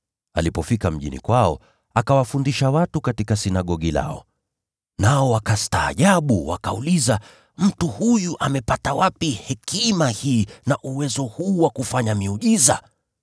Alipofika mji wa kwao, akawafundisha watu katika sinagogi lao. Nao wakastaajabu, wakauliza, “Mtu huyu amepata wapi hekima hii na uwezo huu wa kufanya miujiza?”